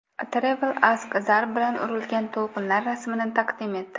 Travel Ask zarb bilan urilgan to‘lqinlar rasmini taqdim etdi.